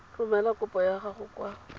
romela kopo ya gago kwa